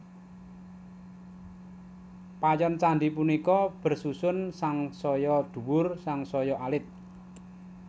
Payon candhi punika bersusun sansaya dhuwur sansaya alit